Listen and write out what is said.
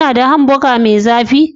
Kuna da hamburger mai zafi?